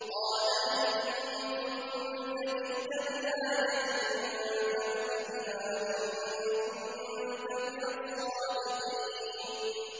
قَالَ إِن كُنتَ جِئْتَ بِآيَةٍ فَأْتِ بِهَا إِن كُنتَ مِنَ الصَّادِقِينَ